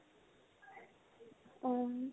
অম্